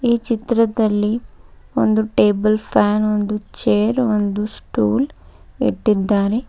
ಈ ಚಿತ್ರದಲ್ಲಿ ಒಂದು ಟೇಬಲ್ ಫ್ಯಾನ್ ಒಂದು ಚೇರ್ ಒಂದು ಸ್ಟೂಲ್ ಇಟ್ಟಿದ್ದಾರೆ.